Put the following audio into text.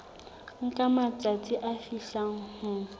nka matsatsi a fihlang ho